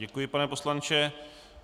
Děkuji, pane poslanče.